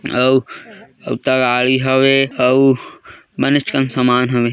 अऊ अऊ तगाड़ी हवे अऊ बनेच कन समान हवे।